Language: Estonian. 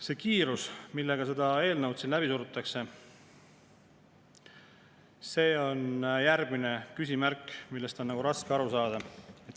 See kiirus, millega seda eelnõu siin läbi surutakse, tekitab järgmise küsimärgi, sellest on raske aru saada.